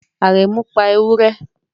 Aremu pa ewure